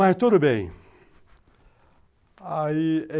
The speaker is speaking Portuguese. Mas tudo bem. Aí